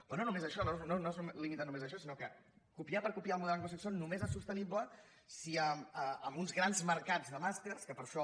però no només això no es limita només a això sinó que copiar per copiar el model anglosaxó només és sostenible amb uns grans mercats de màsters que per això